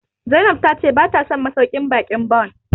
Zainab ta ce bata son masauƙin baƙin Bon